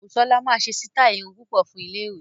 Busola máa ṣe sítáì irun púpọ̀ fún iléèwé